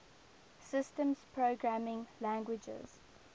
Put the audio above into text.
systems programming languages